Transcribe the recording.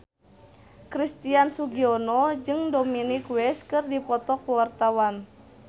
Christian Sugiono jeung Dominic West keur dipoto ku wartawan